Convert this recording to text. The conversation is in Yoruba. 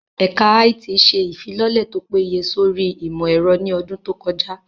Ẹ̀ka IT ṣe ìfilọ́lẹ̀ tó péye sórí ìmọ̀ ẹ̀rọ ní ọdún tó kọjá